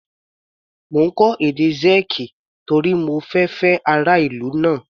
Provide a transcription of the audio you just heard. Mo ń kọ́ èdè Sẹ́ẹ̀kì torí mo fẹ fẹ́ ará ìlú náà.